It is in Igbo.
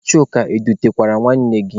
Chuka, ị dutekwara nwanne gị?